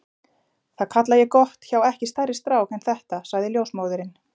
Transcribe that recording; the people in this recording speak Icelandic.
Það kalla ég gott hjá ekki stærri strák en þetta sagði ljósmóðirin.